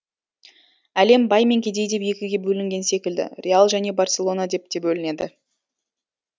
әлем бай мен кедей деп екіге бөлінген секілді реал және барселона деп те бөлінеді